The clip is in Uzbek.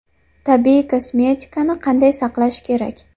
Tabiiy kosmetikani qanday saqlash kerak?